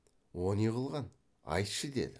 о не қылған айтшы деді